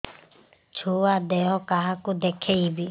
ଛୁଆ ଦେହ କାହାକୁ ଦେଖେଇବି